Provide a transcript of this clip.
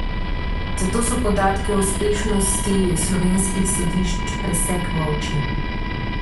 Zato so podatki o uspešnosti slovenskih sodišč pesek v oči.